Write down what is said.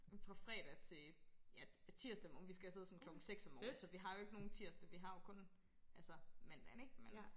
Fra fredag til ja tirsdag morgen vi skal afsted sådan klokken 6 om morgenen så vi har jo ikke nogen tirsdag vi har jo kun altså mandagen ikke men